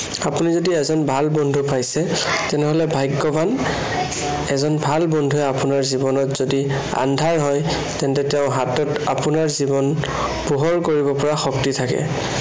আপুনি যদি এজন ভাল বন্ধু পাইছে, তেনেহলে ভাগ্য়ৱান। এজন ভাল বন্ধুৱে আপোনৰ জীৱনত য়দি আন্ধাৰ হয়, তেন্তে তেওঁৰ হাতত আপোনাৰ জীৱন পোহৰ কৰিব পৰা শক্তি থাকে।